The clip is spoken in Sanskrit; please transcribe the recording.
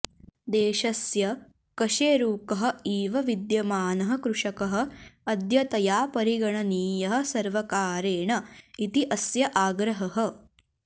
देशस्य कशेरुकः इव विद्यमानः कृषकः अद्यतया परिगणनीयः सर्वकारेण इति अस्य आग्रहः